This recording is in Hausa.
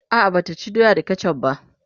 a'a Bata ci doya da ketchuf va